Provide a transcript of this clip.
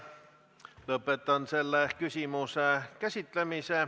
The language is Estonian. Lõpetan selle küsimuse käsitlemise.